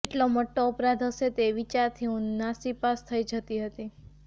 કેટલો મોટો અપરાધ હશે તે એ વિચારથી હું નાસીપાસ થઇ જતી હતી